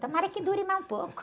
Tomara que dure mais um pouco.